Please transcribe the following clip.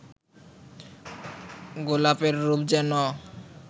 গোলাপের রূপ যেন